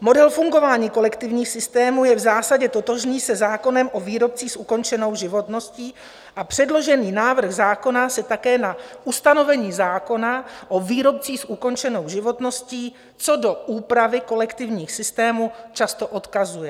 Model fungování kolektivních systémů je v zásadě totožný se zákonem o výrobcích s ukončenou životností a předložený návrh zákona se také na ustanovení zákona o výrobcích s ukončenou životností co do úpravy kolektivních systémů často odkazuje.